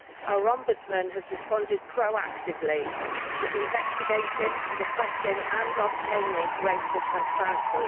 Our Ombudsman has responded proactively, investigating, requesting and obtaining greater transparency.